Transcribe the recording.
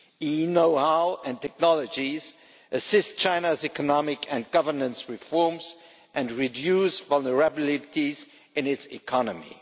E knowhow and technologies assist China's economic and governance reforms and reduce vulnerabilities in its economy.